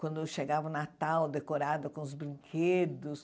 Quando chegava o Natal, decorada com os brinquedos.